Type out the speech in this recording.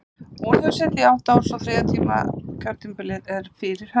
Hún hefur setið í átta ár, svo að þriðja kjörtímabilið er fyrir höndum.